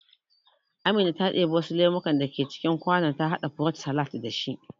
Amina ta ɗibi wasu lemukan da ke cikin kwanon ta haɗa furut salad da shi